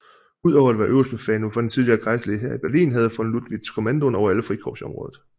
Udover at være øverstbefalende for den tidligere Kejserlige Hær i Berlin havde von Lüttwitz kommandoen over alle frikorps i området